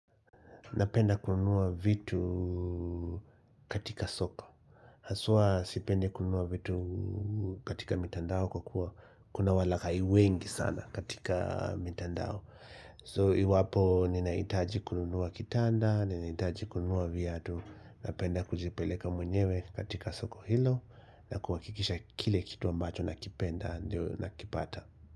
Napenda kununua vitu katika soko Haswa sipende kununua vitu katika mitandao kwa kuwa Kuna walaghai wengi sana katika mitandao So iwapo ninahitaji kununua kitanda Ninahitaji kununua viatu Napenda kujipeleka mwenyewe katika soko hilo na kuhakikisha kile kitu ambacho nakipenda ndio nakipata.